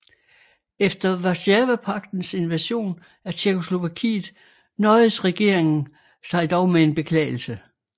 Efter Warszawapagtens invasion af Tjekkoslovakiet nøjedes regeringen sig dog med en beklagelse